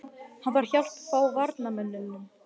Hann þarf hjálp frá varnarmönnunum.